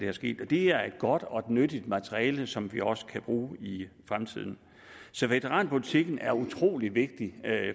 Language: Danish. er sket det er et godt og nyttigt materiale som vi også kan bruge i fremtiden så veteranpolitikken er utrolig vigtig